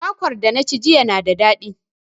Kwakwar da na ci jiya na da daɗi.